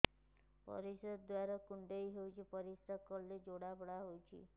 ପରିଶ୍ରା ଦ୍ୱାର କୁଣ୍ଡେଇ ହେଉଚି ପରିଶ୍ରା କଲେ ଜଳାପୋଡା ହେଉଛି